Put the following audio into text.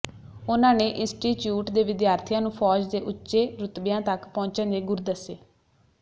ਉਨ੍ਹਾਂ ਨੇ ਇੰਸਟੀਚਿਊਟ ਦੇ ਵਿਦਿਆਰਥੀਆਂ ਨੂੰ ਫੌਜ ਦੇ ਉਚੇ ਰੁਤਬਿਆਂ ਤੱਕ ਪਹੁੰਚਣ ਦੇ ਗੁਰ ਦੱਸੇ